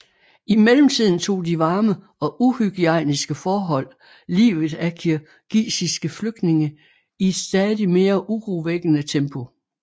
I mellemtiden tog de varme og uhygiejniske forhold livet af kirgisiske flygtninge i et stadig mere urovækkende tempo